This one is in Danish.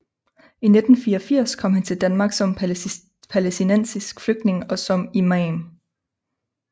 I 1984 kom han til Danmark som palæstinensisk flygtning og som imam